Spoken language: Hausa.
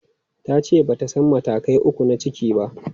Ta ce ba ta san matakai uku na ciki ba.